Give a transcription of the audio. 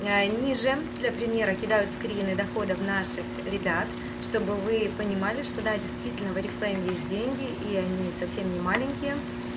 ниже для примера кидаю скрины доходов наших ребят чтобы вы понимали что да действительно в орифлейм есть деньги и они совсем не маленькие